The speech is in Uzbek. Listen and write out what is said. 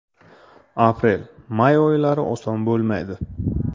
Aprel-may oylari oson bo‘lmaydi.